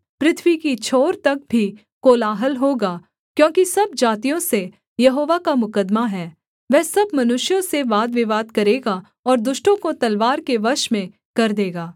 पृथ्वी की छोर तक भी कोलाहल होगा क्योंकि सब जातियों से यहोवा का मुकद्दमा है वह सब मनुष्यों से वादविवाद करेगा और दुष्टों को तलवार के वश में कर देगा